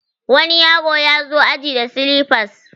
wani yaro ya zo aji da silifas